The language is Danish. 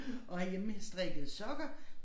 Og hjemmestrikkede sokker